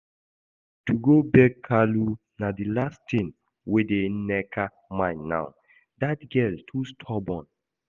To go beg Kalu na the last thing wey dey Nneka mind now, that girl too stubborn